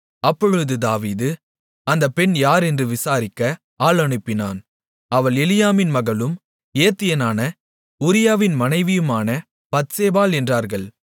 அப்பொழுது தாவீது அந்த பெண் யார் என்று விசாரிக்க ஆள் அனுப்பினான் அவள் எலியாமின் மகளும் ஏத்தியனான உரியாவின் மனைவியுமான பத்சேபாள் என்றார்கள்